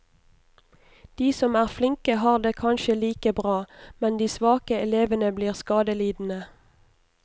De som er flinke har det kanskje like bra, men de svake elevene blir skadelidende.